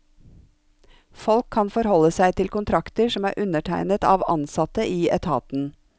Folk kan forholde seg til kontrakter som er undertegnet av ansatte i etaten.